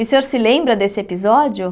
E o senhor se lembra desse episódio?